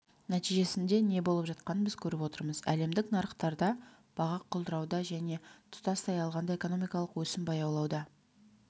нәтижесінде не болып жатқанын біз көріп отырмыз әлемдік нарықтарда баға құлдырауда және тұтастай алғанда экономикалық өсім баяулауда